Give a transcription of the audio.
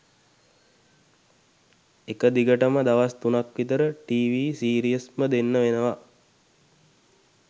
එක දිගටම දවස් තුනක් විතර ටීවි සිරියස්ම දෙන්න වෙනවා